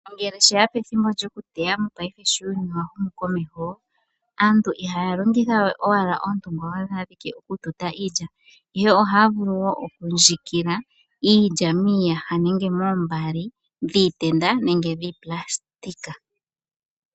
Ngele sheya pethimbo lyoku teya mopaife sho uuyuni wa humu komeho, aantu ihaya longitha we owala oontungwa odho ashike oku tuta iilya, ihe ohaya vulu wo oku ndjikila iilya miiyaha nenge moombaali dhiitenda nenge dhiipulasitika.